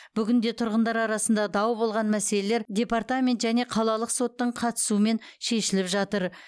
бүгінде тұрғындар арасындағы дау болған мәселелер департамент және қалалық соттың қатысуымен шешіліп жатыр